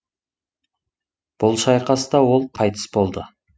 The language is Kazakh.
бұл шайқаста ол қайтыс болды